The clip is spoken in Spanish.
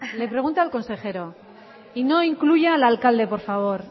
le pregunta al consejero y no incluya al alcalde por favor